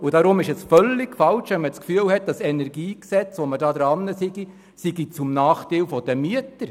Deshalb ist es völlig falsch, wenn man das Gefühl hat, das gegenwärtig diskutierte KEnG sei zum Nachteil der Mieter.